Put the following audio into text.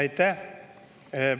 Aitäh!